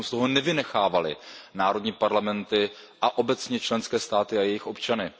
abychom z toho nevynechávali národní parlamenty a obecně členské státy a jejich občany.